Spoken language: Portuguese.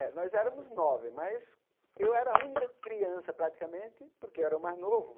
É, nós éramos nove, mas eu era a única criança, praticamente, porque eu era o mais novo.